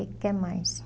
O que mais?